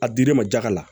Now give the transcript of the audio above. A dir'i ma jaga la